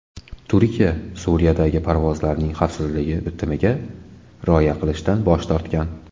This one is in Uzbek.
Turkiya Suriyadagi parvozlarning xavfsizligi bitimiga rioya qilishdan bosh tortgan.